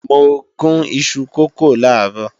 Mo gún ìṣù kókò làárọ̀